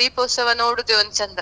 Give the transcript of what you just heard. ದೀಪೋತ್ಸವ ನೋಡುದ್ ಚಂದ.